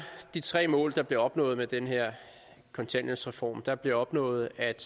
de tre mål der bliver opnået med den her kontanthjælpsreform der bliver opnået at